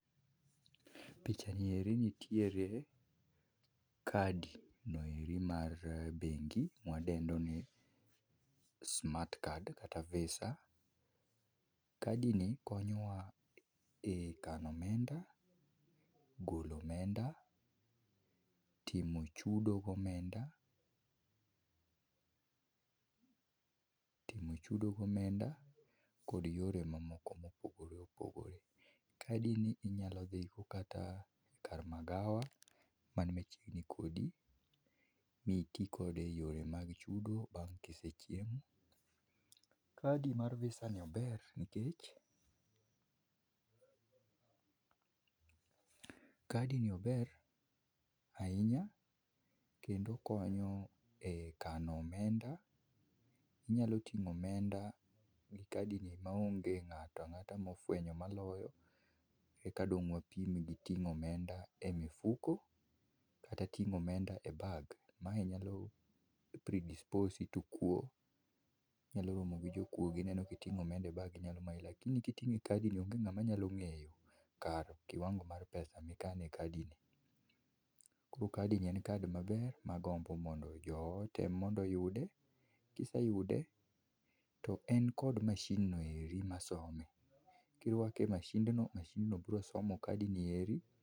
Picha nieri nitiere kadi noeri mar bengi mwadendoni smart card kata visa. Kadi ni konyowa e kano omenda, golo omenda, timo chudo gi omenda, timo chudo gi omenda kod yore mamoko ma opogore opogore. Kadi ni inyalo dhi go kata kar magawa man machiegni kodi miti kode e yore mag chudo bang ka isechiemo. Kadi mar visa ni ober nikech kadi ni ober ahinya kendo okonyo e kano omenda, inyalo tingo omenda gi kadi ni maonge ngato angata mofwenyo maloyo eka dong wapim gi tingo omenda e mifuko kata tingo omenda e bag, mae nyalo predispose i to kuo, inyalo romo gi jokuoge gineno ka itingo omenda e bag ginyalo mayi lakini ka itingo omenda e kadi ni onge ngama nyalo ngeyo kar kiwango mar pesa ma ikano e kadi ni, koro kadi ni en kadi ma ber magombo mondo jowa otem mondo oyude, kiseyudo to en kod mashin noeri masome, kirwake e mashin to mashind no biro somo kad nieri